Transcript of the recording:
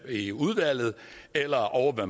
i udvalget eller ovre